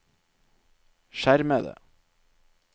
skjermede